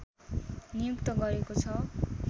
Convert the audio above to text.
नियुक्त गरेको छ